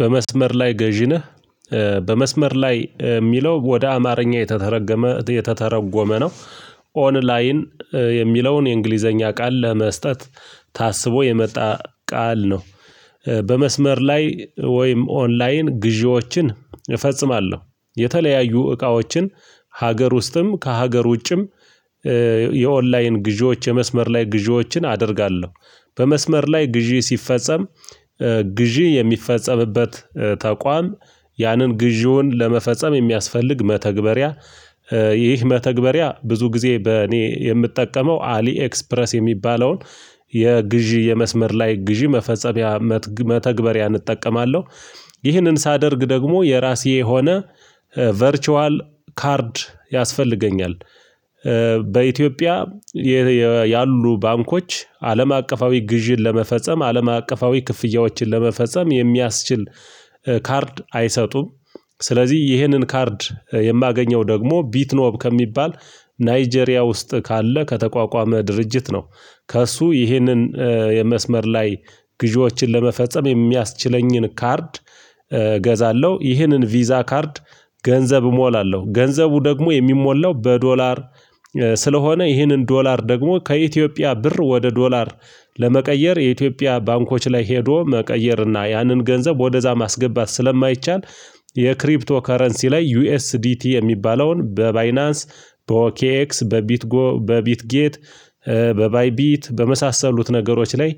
በመስመር ላይ ገዢ ነህ? በመስመር ላይ የሚለው ወደ አማርኛ የተተረገመ የተተረጎመ ነው። ኦን ላይን የሚለውን የእንግሊዘኛ ቃል ለመስጠት ታስቦ የመጣ ቃል ነው። በመስመር ላይ ወይም ኦንላይን ግዢዎችን እፈጽማለሁ የተለያዩ እቃዎችን ሀገር ውስጥም ከሀገር ውጭም የኦንላይን ግዢዎች የመስመር ላይ ግዢዎችን አደርጋለሁ። በመስመር ላይ ግዢ ሲፈጸም ግዢ የሚፈጸምበት ተቋም ያንን ግዢውን ለመፈጸም የሚያስፈልግ መተግበሪያ። ይህ መተግበሪያ ብዙ ጊዜ በእኔ የምጠቀመው አሊ ኤክስፕረስ የሚባለውን የግዢ የመስመር ላይ ግዢ መፈጸሚያ መተግበሪያ እጠቀማለሁ። ይህንን ሳደርግ ደግሞ የራሴ የሆነ ቨርቹዋል ካርድ ያስፈልገኛል። በኢትዮጵያ ያሉ ባንኮች አለም አቀፋዊ ግዥን ለመፈጸም አለም አቀፋዊ ክፍያዎችን ለመፈጸም የሚያስችል ካርድ አይሰጡም። ስለዚህ ይሄንን ካርድ የማገኘው ደግሞ ቢትኖብ ከሚባል ናይጄሪያ ውስጥ ካለ ከተቋቋመ ድርጅት ነው። ከእሱ ይህንን የመስመር ላይ ግዢዎችን ለመፈጸም የሚያስችለኝን ካርድ። እገዛለሁ ይህንን ቪዛ ካርድ ገንዘብ እሞላለሁ ገንዘቡ ደግሞ የሚሞላው በዶላር። ስለሆነ ይህንን ዶላር ደግሞ ከኢትዮጵያ ብር ወደ ዶላር ለመቀየር የኢትዮጵያ ባንኮች ላይ ሄዶ መቀየርና ያንን ገንዘብ ወደዛ ማስገባት ስለማይቻል። የክሪፕቶ ከረንሲ ላይ ዩኤስዲቲ የሚባለውን በባይናንስ በኦኬክስ በቢትጎ በቢትጌት በባይቢት በመሳሰሉት ነገሮች ላይ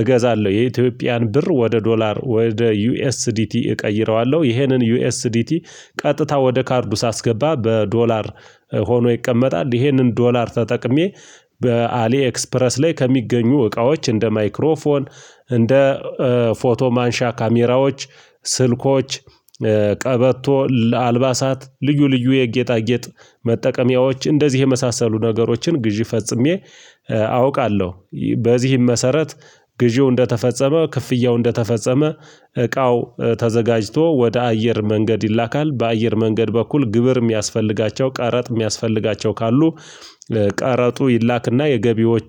እገዛለሁ። የኢትዮጵያን ብር ወደ ዶላር ወደ ዩኤስዲቲ እቀይረዋለሁ። ይሄንን ዩኤስዲቲ ቀጥታ ወደ ካርዱ ሳስገባ በዶላር ሆኖ ይቀመጣል። ይሄንን ዶላር ተጠቅሜ በአሊ ኤክስፕረስ ላይ ከሚገኙ እቃዎች እንደ ማይክሮፎን እንደ ፎቶ ማንሻ ካሜራዎች ስልኮች ቀበቶ ለአልባሳት ልዩ ልዩ የጌጣጌጥ መጠቀሚያዎች እንደዚህ የመሳሰሉ ነገሮችን ግዢ ፈጽሜ አውቃለሁ። በዚህም መሰረት ግዢው እንደተፈጸመ ክፍያው እንደተፈጸመ እቃው ተዘጋጅቶ ወደ አየር መንገድ ይላካል። በአየር መንገድ በኩል ግብር የሚያስፈልጋቸው ቀረጥ የሚያስፈልጋቸው ካሉ። ቀረጡ ይላክና የገቢዎች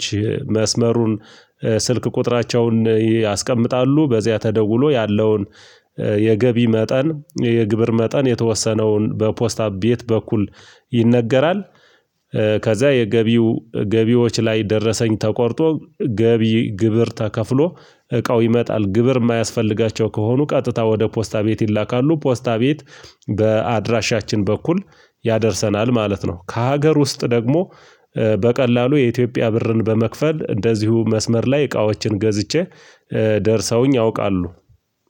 መስመሩን ስልክ ቁጥራቸውን ያስቀምጣሉ በዚያ ተደውሎ ያለውን የገቢ መጠን የግብር መጠን የተወሰነውን በፖስታ ቤት በኩል ይነገራል። ከዛ የገቢው ገቢዎች ላይ ደረሰኝ ተቆርጦ ገቢ ግብር ተከፍሎ እቃው ይመጣል። ግብር የማያስፈልጋቸው ከሆኑ ቀጥታ ወደ ፖስታ ቤት ይላካሉ። ፖስታ ቤት በአድራሻችን በኩል ያደርሰናል ማለት ነው። ከሀገር ውስጥ ደግሞ በቀላሉ የኢትዮጵያ ብርን በመክፈል እንደዚሁ መስመር ላይ እቃዎችን ገዝቼ ደርሰውኝ ያውቃሉ።